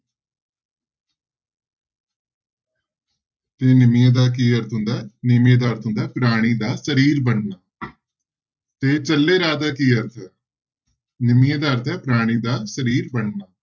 ਤੇ ਨਿਮੀਏ ਦਾ ਕੀ ਅਰਥ ਹੁੰਦਾ ਹੈ ਨਿਮੀਏ ਦਾ ਅਰਥ ਹੁੰਦਾ ਹੈ ਪ੍ਰਾਣੀ ਦਾ ਸਰੀਰ ਬਣਨਾ ਜੇ ਚੱਲੇ ਰਾਹ ਦਾ ਕੀ ਅਰਥ ਹੈ, ਨਿਮੀਏ ਦਾ ਅਰਥ ਹੈ ਪ੍ਰਾਣੀ ਦਾ ਸਰੀਰ ਬਣਨਾ।